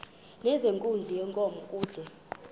nezenkunzi yenkomo kude